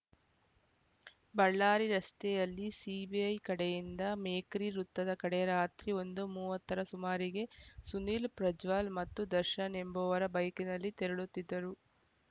ಬಳ್ಳಾರಿ ರಸ್ತೆಯಲ್ಲಿ ಸಿಬಿಐ ಕಡೆಯಿಂದ ಮೇಕ್ರಿ ವೃತ್ತದ ಕಡೆ ರಾತ್ರಿ ಒಂದು ಮೂವತ್ತು ರ ಸುಮಾರಿಗೆ ಸುನೀಲ್‌ ಪ್ರಜ್ವಲ್‌ ಮತ್ತು ದರ್ಶನ್‌ ಎಂಬುವರ ಬೈಕ್‌ನಲ್ಲಿ ತೆರಳುತ್ತಿದ್ದರು